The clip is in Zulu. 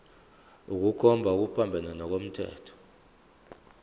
ukukhomba okuphambene nomthetho